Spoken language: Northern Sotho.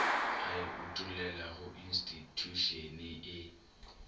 a e utollelago institšhušene e